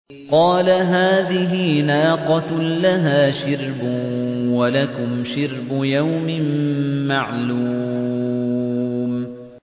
قَالَ هَٰذِهِ نَاقَةٌ لَّهَا شِرْبٌ وَلَكُمْ شِرْبُ يَوْمٍ مَّعْلُومٍ